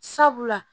Sabula